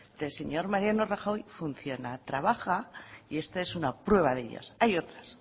del señor mariano rajoy funciona trabaja y esta es una prueba de ellas hay otras